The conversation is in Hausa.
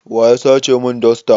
Waya sace mun dosta?